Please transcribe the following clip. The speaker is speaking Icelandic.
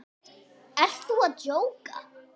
Þú ert að djóka?